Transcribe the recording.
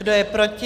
Kdo je proti?